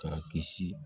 K'a kisi